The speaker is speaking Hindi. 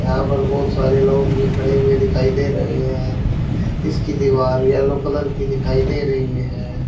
यहां पर बहोत सारे लोग भी खड़े हुए दिखाई दे रहे हैं इसकी दीवार येलो कलर की दिखाई दे रही है।